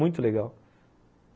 Muito legal.